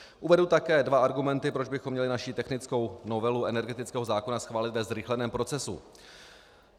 Uvedu také dva argumenty, proč bychom měli naši technickou novelu energetického zákona schválit ve zrychleném procesu.